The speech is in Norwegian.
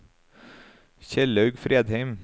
Kjellaug Fredheim